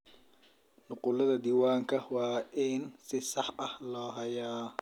Nuqullada diiwaanka waa in si sax ah loo hayaa.